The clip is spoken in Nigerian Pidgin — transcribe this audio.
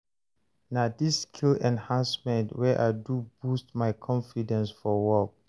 Na dis skill enhancement wey I do boost my confidence for work.